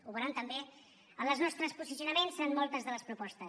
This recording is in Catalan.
ho veuran també en els nostres posicionaments en moltes de les propostes